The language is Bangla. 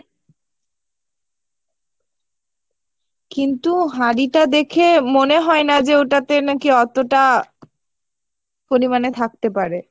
কিন্তু হাড়ি টা দেখে মনে হয় না যে ওটাতে নাকী অতটা পরিমাণে থাকতে পারে